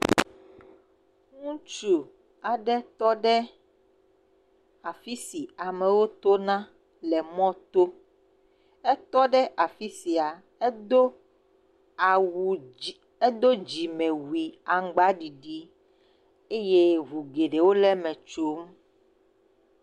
ŋutsu aɖe tɔɖe afisi amewo tona le mɔto etɔ ɖe afisia edó awu edó dzimewui aŋgbaɖiɖi eye ʋu gɛɖɛwo le mɛ tsom